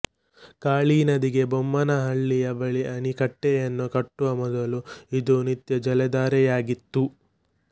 ಕಾಳಿ ನದಿಗೆ ಬೊಮ್ಮನಹಳ್ಳಿಯ ಬಳಿ ಅಣೆಕಟ್ಟೆಯನ್ನು ಕಟ್ಟುವ ಮೊದಲು ಇದು ನಿತ್ಯ ಜಲಧಾರೆಯಾಗಿತ್ತು